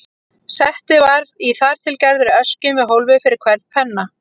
Settið var í þar til gerðri öskju með hólfi fyrir hvern penna.